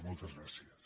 moltes gràcies